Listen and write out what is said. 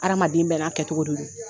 Adamaden bɛɛ n'a kɛcogo de don